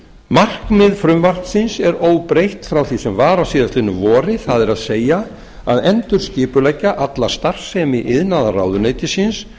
markmið frumvarpsins er óbreytt frá því sem var á síðastliðnu vori það er að endurskipuleggja alla starfsemi iðnaðarráðuneytisins